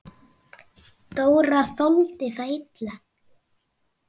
Dóra þoldi það illa.